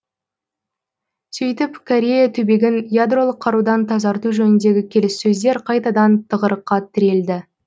сөйтіп корея түбегін ядролық қарудан тазарту жөніндегі келіссөздер қайтадан тығырыққа тірелді